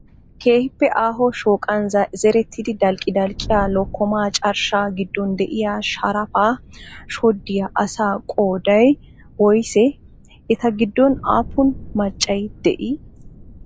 Keehippe aaho shooqan zerettida dalqqi dalqqiya lokkomaa carshshaa giddon diyaa sharapaa shoddiya asa qoodayi woyisee? Eta giddon aappun maccayi dii?